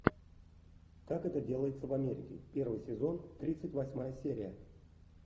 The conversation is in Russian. как это делается в америке первый сезон тридцать восьмая серия